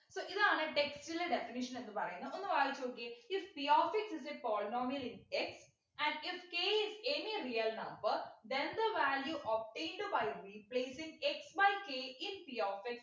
so ഇതാണ് text ലെ definition എന്ന് പറയുന്ന ഒന്ന് വായിച്ചു നോക്കിയേ if p of x is a polynomial in x and if k is anyreal number then the value of into by replacing x by k is p of x